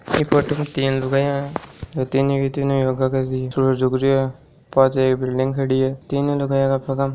एक फोटो तीन लुगाया है तीनो के तीनो योगा कर रहे है पास बिल्डिंग खड़ी है तीनो लुगाया के पगा म --